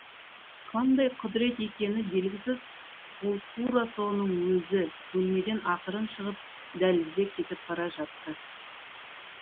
қандай құдірет екені белгісіз ол тура соның өзі бөлмеден ақырын шығып дәлізде кетіп бара жатты